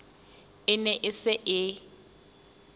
e ne e se e